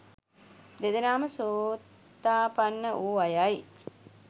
දෙදෙනාම සෝතාපන්න වූ අයයි.